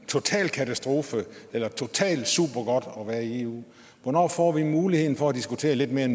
total katastrofe eller totalt supergodt at være i eu hvornår får vi muligheden for at diskutere lidt mere